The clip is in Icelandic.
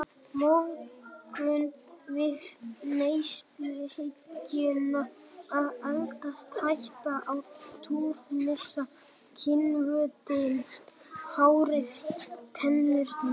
Móðgun við neysluhyggjuna að eldast, hætta á túr, missa kynhvötina, hárið, tennurnar.